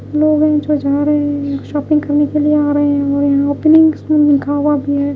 कुछ लोग जा रहे हैं शॉपिंग करने के लिए आ रहे हैं और ओपनिंग स्कूल लिखा हुआ भी है।